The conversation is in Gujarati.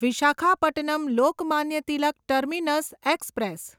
Visakhapatnam Lokmanya Tilak terminus express